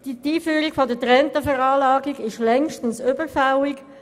Die Einführung der getrennten Veranlagung ist längst überfällig.